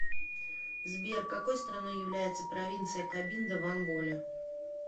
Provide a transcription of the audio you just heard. сбер какой страной является провинция кабинда в анголе